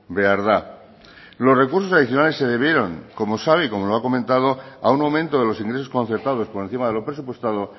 behar da los recursos adicionales se debieron como sabe y como lo ha comentado a un momento de los ingresos concertados por encima de lo presupuestado